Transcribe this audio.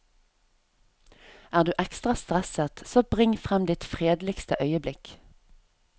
Er du ekstra stresset, så bring frem ditt fredeligste øyeblikk.